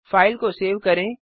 file को save करें